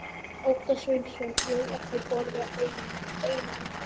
Óttar Sveinsson: Ég hef ekki borðað eina ennþá?